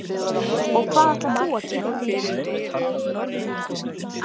Og hvað ætlar þú að gera?